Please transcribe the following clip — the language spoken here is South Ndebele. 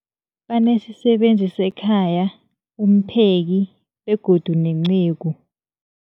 Banesisebenzi sekhaya, umpheki, begodu nenceku.